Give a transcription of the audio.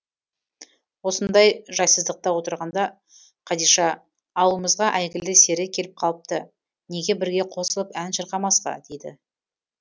осындай жайсыздықта отырғанда қадиша ауылымызға әйгілі сері келіп қалыпты неге бірге қосылып ән шырқамасқа дейді